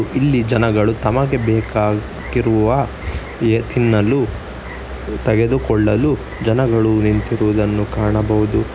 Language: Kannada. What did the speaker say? ಇಲ್ಲಿ ಜನಗಳು ತಮಗೆ ಬೇಕಾಗಿರುವ ಎ ತಿನ್ನಲು ತೆಗೆದುಕೊಳ್ಳಲು ಜನಗಳು ನಿಂತಿರುವುದನ್ನು ಕಾಣಬಹುದು.